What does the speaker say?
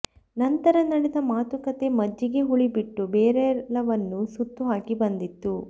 ನಂತರ ನಡೆದ ಮಾತುಕತೆ ಮಜ್ಜಿಗೆ ಹುಳಿ ಬಿಟ್ಟು ಬೇರೆಲ್ಲವನ್ನೂ ಸುತ್ತುಹಾಕಿ ಬಂದಿತ್ತು